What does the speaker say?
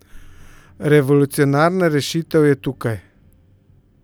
Revolucionarna rešitev je tukaj!